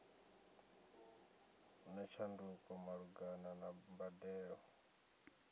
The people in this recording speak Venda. na tshanduko malugana na mbadelo